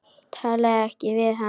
Talaðu ekki við hann.